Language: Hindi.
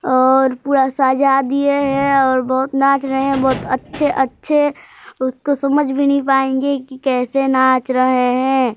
और पूरा सजा दिए है और बहुत नाच रहे है बहुत अच्छे अच्छे उसको समझ भी नहीं पायेंगे की कैसे नाच रहे है।